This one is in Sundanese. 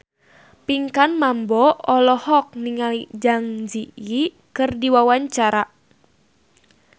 Pinkan Mambo olohok ningali Zang Zi Yi keur diwawancara